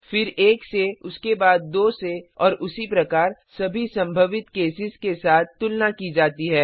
फिर 1 से उसके बाद 2 से और उसी प्रकार सभी संभावित केसेज के साथ तुलना की जाती है